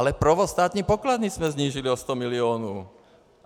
Ale provoz státní pokladny jsme snížili o 100 milionů.